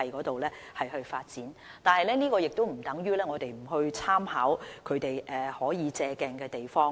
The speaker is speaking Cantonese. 但是，這亦不等於我們不參考內地可借鏡的地方。